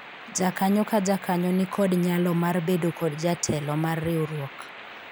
jakanyo ka jakanyo nikod nyalo mar bedo kod jatelo mar riwruok